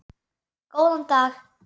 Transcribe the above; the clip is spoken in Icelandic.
Góðan dag!